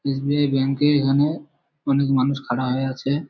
SBI. Bank এর এখানে অনেক মানুষ খাড়া হয়ে আছে --